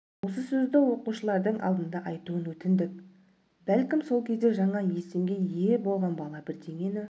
осы сөзді оқушылардың алдында айтуын өтіндік бәлкім сол кезде жаңа есімге ие болған бала бірдеңені